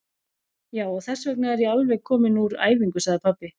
Já, og þessvegna er ég alveg kominn úr æfingu, sagði pabbi.